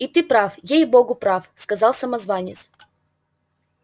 и ты прав ей-богу прав сказал самозванец